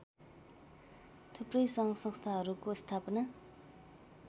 थुप्रै सङ्घसंस्थाहरूको स्थापना